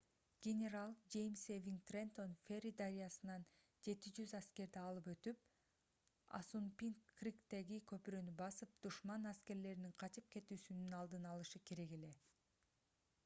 генерал жеймс эвиң трентон ферри дарыясынан 700 аскерди алып өтүп ассунпинк-криктеги көпүрөнү басып душман аскерлеринин качып кетүүсүнүн алдын алышы керек эле